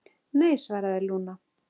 Nei, svaraði Lúna.